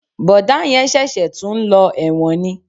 Bọ̀dá yẹn ṣẹ̀ṣẹ̀ tún ń lọ ẹ̀wọ̀n ni